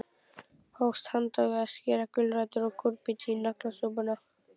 Hófst handa við að skera gulrætur og kúrbít í naglasúpuna.